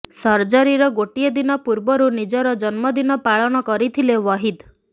ସର୍ଜରୀର ଗୋଟିଏ ଦିନ ପୂର୍ବରୁ ନିଜର ଜନ୍ମଦିନ ପାଳନ କରିଥିଲେ ୱହିଦ୍